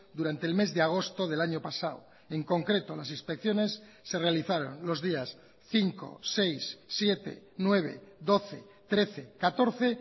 durante el mes de agosto del año pasado en concreto las inspecciones se realizaron los días cinco seis siete nueve doce trece catorce